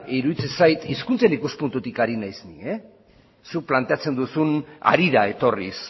iruditzen zait hizkuntzen ikuspuntutik ari naiz nik zuk planteatzen duzun harira etorriz